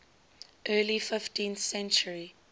early fifteenth century